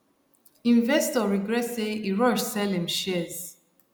investor regret say e rush sell him shares